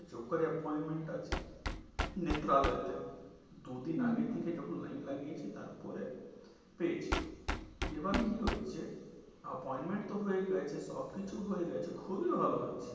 যখন appointment টা নেত্রালয়েতে দু- দিন হম আগে থেকে যখন লাইন লাগিয়েছে তারপরে পেয়েছি হম এবার কি হয়েছে যে appointment তো হয়ে গেছে সব কিছু হয়ে গেছে খুবই ভালো হয়েছে